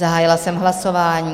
Zahájila jsem hlasování.